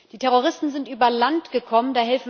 Die Terroristen sind über Land gekommen.